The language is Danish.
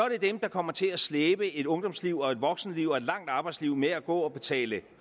det dem der kom til at slæbe et ungdomsliv og et voksenliv og et langt arbejdsliv med at gå og betale